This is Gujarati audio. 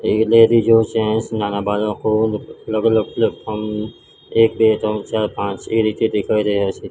અલગ અલગ પ્લેટફોર્મ એક બે ત્રણ ચાર પાંચ એ રીતે દેખાય રહ્યા છે.